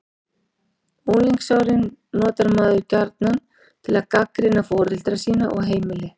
Unglingsárin notar maður gjarnan til að gagnrýna foreldra sína og heimili.